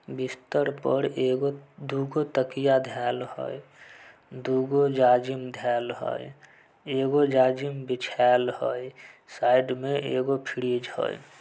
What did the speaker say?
बिस्तर पर एगो दू गो तकिया धाल हई दू गो जाजिम धाल हई एगो जाजिम बिछाल हई साइड में एगो फ्रीज हई।